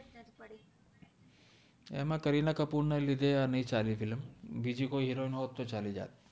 એમા કરિના કપૂર ના લિધે આ નૈ ચાલિ ફ઼ઇલમ બિજિ કોઇ હિરોઇને હોત તો ચલિ જતિ